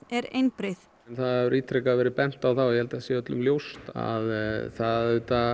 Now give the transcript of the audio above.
er einbreið það hefur ítrekað verið bent á að það og ég held að það sé öllum ljóst að það